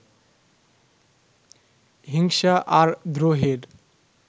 হিংসা আর দ্রোহের